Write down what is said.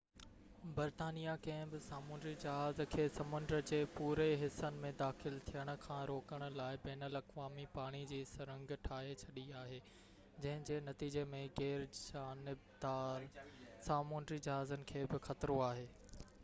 برطانيه ڪنهن به سامونڊي جهاز کي سمنڊ جي پوري حصن ۾ داخل ٿيڻ کان روڪڻ لاءِ بين الاقوامي پاڻي جي سرنگ ٺاهي ڇڏي آهي جنهن جي نتيجي ۾ غير جانبدار سامونڊي جهازن کي به خطرو آهي